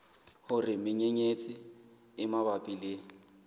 hore menyenyetsi e mabapi le